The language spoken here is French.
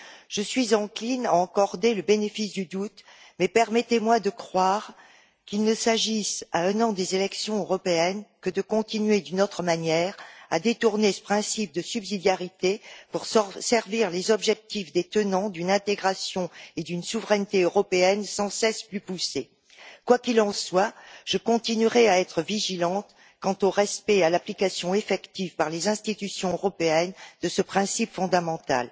Je suis encline à accorder le bénéfice du doute, mais permettez moi de croire qu'il ne s'agit, à un an des élections européennes, que de continuer, d'une autre manière, à détourner ce principe de subsidiarité pour servir les objectifs des tenants d'une intégration et d'une souveraineté européennes sans cesse plus poussées. Quoi qu'il en soit, je continuerai à être vigilante quant au respect et à l'application effective par les institutions européennes de ce principe fondamental.